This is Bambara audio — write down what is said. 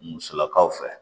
Musolakaw fɛ